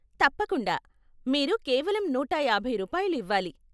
తప్పకుండా, మీరు కేవలం నూట యాభై రూపాయలు ఇవ్వాలి.